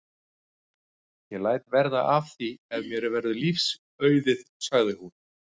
Ég læt verða af því ef mér verður lífs auðið sagði hún.